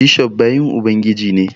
Bishof bayin Ubangiji ne